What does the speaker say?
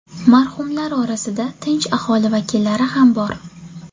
Marhumlar orasida tinch aholi vakillari ham bor.